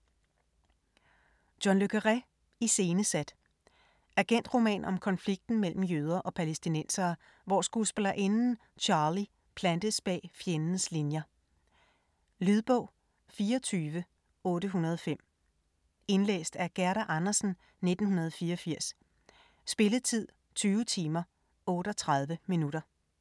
Le Carré, John: Iscenesat Agentroman om konflikten mellem jøder og palæstinensere, hvor skuespillerinden Charlie plantes bag fjendens linier. Lydbog 24805 Indlæst af Gerda Andersen, 1984. Spilletid: 20 timer, 38 minutter.